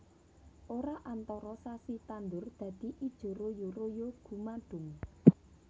Ora antara sasi tandur dadi ijo royo royo gumadhung